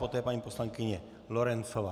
Poté paní poslankyně Lorencová.